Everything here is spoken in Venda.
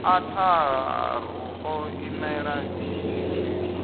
a tharu ḓo imela tshishumiswa